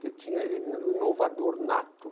Ele tinha era um inovador nato.